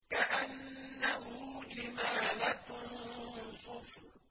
كَأَنَّهُ جِمَالَتٌ صُفْرٌ